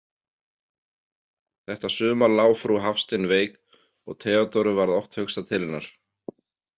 Þetta sumar lá frú Hafstein veik og Theodóru varð oft hugsað til hennar.